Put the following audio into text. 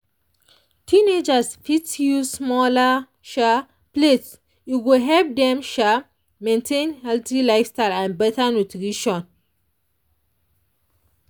teenagers fit use smaller um plates e go help dem um maintain healthy lifestyle and better nutrition.